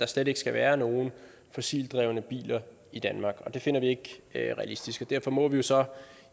slet ikke skal være nogen fossilt drevne biler i danmark det finder vi ikke er realistisk og derfor må vi jo så